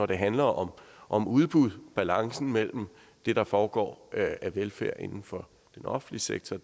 det handler om om udbud og balancen mellem det der foregår af velfærd inden for den offentlige sektor